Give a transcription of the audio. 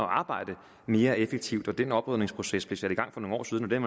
arbejde mere effektivt den oprydningsproces blev sat i gang for nogle år siden og den